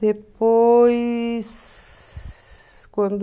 Depois, quando...